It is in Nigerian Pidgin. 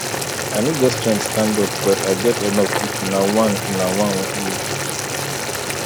i no get strength stand up but i get enough if una one una one use